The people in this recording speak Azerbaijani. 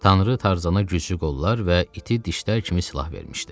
Tanrı Tarzana güclü qollar və iti dişlər kimi silah vermişdi.